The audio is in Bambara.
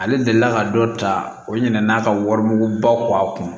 Ale delila ka dɔ ta o ɲinana n'a ka wari baw ko a kun